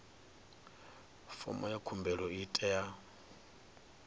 fomo ya khumbelo i tea